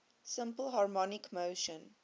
simple harmonic motion